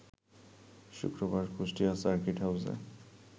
শুক্রবার কুষ্টিয়া সার্কিট হাউসে